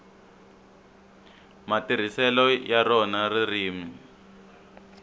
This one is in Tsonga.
matirhiselo ya rona ririmi